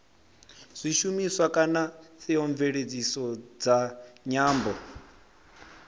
zwishumiswa kana theomveledziso dza nyambo